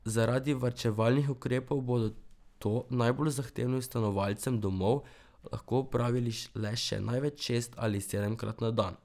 Zaradi varčevalnih ukrepov bodo to najbolj zahtevnim stanovalcem domov lahko opravili le še največ šest ali sedemkrat na dan.